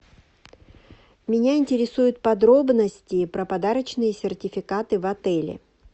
меня интересуют подробности про подарочные сертификаты в отеле